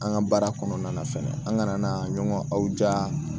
An ka baara kɔnɔna na fɛnɛ an kana na ɲɔgɔn ja